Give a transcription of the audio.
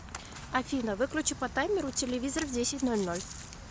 афина выключи по таймеру телевизор в десять ноль ноль